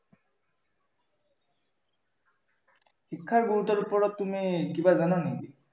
শিক্ষাৰ গুৰুত্বৰ ওপৰত তুমি কিবা জানা নেকি?